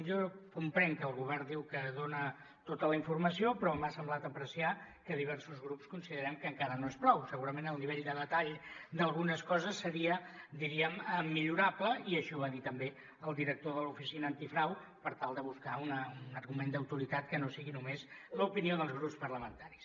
jo comprenc que el govern diu que dona tota la informació però m’ha semblat apreciar que diversos grups considerem que encara no és prou segurament el nivell de detall d’algunes coses seria diríem millorable i així ho va dir també el director de l’oficina antifrau per tal de buscar un argument d’autoritat que no sigui només l’opinió dels grups parlamentaris